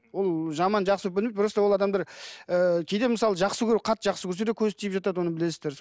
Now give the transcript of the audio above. ол жаман жақсы просто ол адамдар ыыы кейде мысалы жақсы көріп қатты жақсы көрсе де көз тиіп жатады оны білесіздер